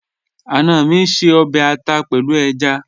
Ana mi ń ṣè ọbẹ̀ àtà pẹ̀lú èjá.